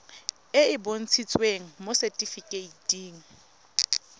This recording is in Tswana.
e e bontshitsweng mo setifikeiting